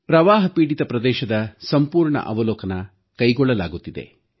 ಪ್ರವಾಹಪೀಡಿತ ಪ್ರದೇಶದ ಸಂಪೂರ್ಣ ಅವಲೋಕನ ಕೈಗೊಳ್ಳಲಾಗುತ್ತಿದೆ